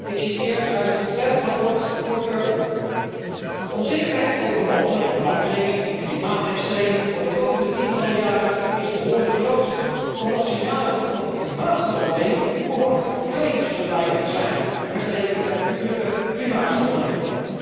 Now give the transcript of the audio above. Ik citeer uit het ontwerpverslag voor Durban De onzekerheid over mogelijke veranderingen in klimaatextremen voor de komende tientallen jaren is behoorlijk groot, omdat signalen van klimaatverandering behoorlijk klein zullen blijken te zijn, vergeleken met natuurlijke klimaatschommelingen.